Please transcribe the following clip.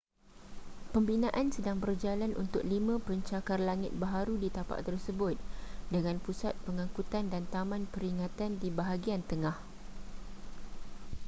pembinaan sedang berjalan untuk lima pencakar langit baharu di tapak tersebut dengan pusat pengangkutan dan taman peringatan di bahagian tengah